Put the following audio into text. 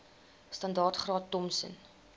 standaard graad thompson